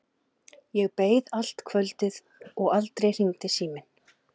Þó ekki nema svona fimm-sex manns.